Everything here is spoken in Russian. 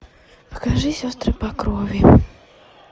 покажи сестры по крови